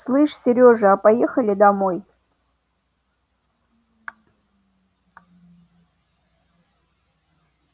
слышь серёжа а поехали домой